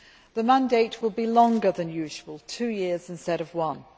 The mandate will be longer than usual two years instead of one.